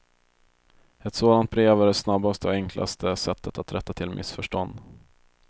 Ett sådant brev är det snabbaste och enklaste sättet att rätta till missförstånd.